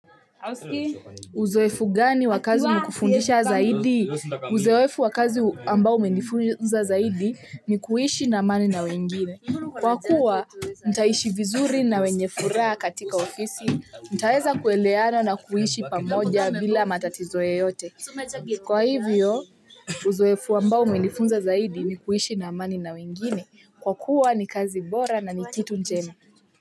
Uzoefu gani wa kazi hukufundisha zaidi. Uzoefu wakazi ambao umenifunza zaidi ni kuishi na amani na wengine. Kwa kuwa, mtaishi vizuri na wenye furaha katika ofisi, mtaweza kuelewana na kuishi pamoja bila matatizo yeyote. Kwa hivyo, uzoefu ambao umenifunza zaidi ni kuishi na amani na wengine. Kwa kuwa ni kazi bora na ni kitu njema.